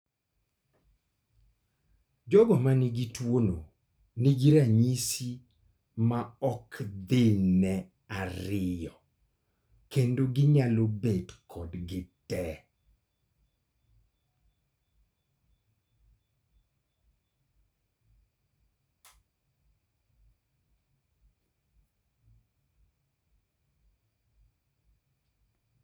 Jogo manigi tuo no nigi ranyisi ma ok thinne ariyo kendo ginyalo bet kodgi tee